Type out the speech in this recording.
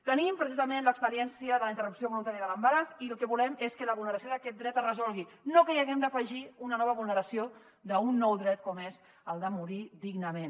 tenim precisament l’experiència de la interrupció voluntària de l’embaràs i el que volem és que la vulneració d’aquest dret es resolgui no que hi haguem d’afegir una nova vulneració d’un nou dret com és el de morir dignament